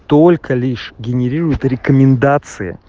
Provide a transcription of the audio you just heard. только лишь генерируют рекомендации